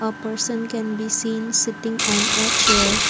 a person can be seen sitting on a chair.